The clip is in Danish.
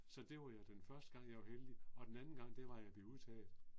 Så det var jeg den første gang jeg var heldig og den anden gang det var jeg blev udtaget